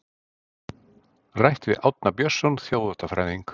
Rætt við Árna Björnsson þjóðháttafræðing.